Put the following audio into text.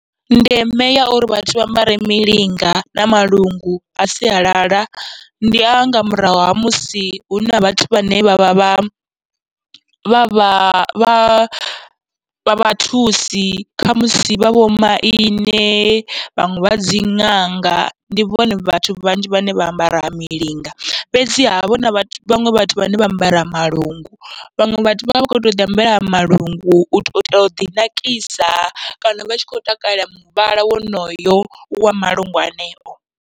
Ndeme ya uri vhathu vha ambare milinga na malungu a sialala, ndi anga murahu ha musi huna vhathu vhane vha vha vha vha vha vha vhathusi khamusi vha vho maine vhaṅwe vhadzi ṅanga, ndi vhone vhathu vhanzhi vhane vha ambara milinga. Fhedziha havha huna vhaṅwe vhathu vhane vha ambara malungu, vhaṅwe vhathu vha vha vha kho to uḓi ambarela malungu u tou itela uḓi nakisa, kana vha tshi khou takalela muvhala wonoyo wa malungu aneo.